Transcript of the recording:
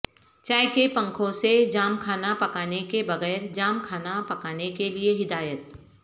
چائے کے پنکھوں سے جام کھانا پکانے کے بغیر جام کھانا پکانے کے لئے ہدایت